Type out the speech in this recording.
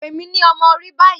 Pe mi ni ọmọ ori bayi